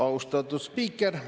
Austatud spiiker!